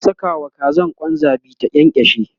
zan Saka wa Kazan Kwan zabi ta kyankyashe